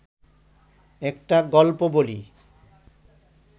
একটা গল্প বলি